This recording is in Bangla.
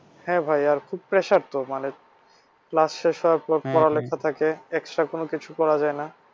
হ্যাঁ ভাই আর খুব pressure তো মানে class শেষ হওয়ার পর পড়ালেখা থাকে আর extra কিছু করা যায় না।